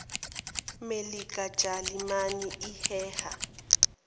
melika jalimane iheha